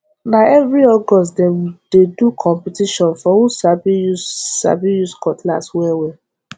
na every august dem dey do competition for who sabi use sabi use cutlass wellwell